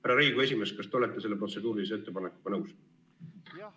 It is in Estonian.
Härra Riigikogu esimees, kas te olete selle protseduurilise ettepanekuga nõus?